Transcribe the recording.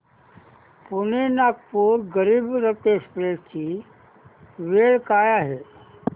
Pune Nagpur Garib Rath express ची वेळ काय आहे